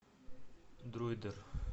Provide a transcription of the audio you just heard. дроидер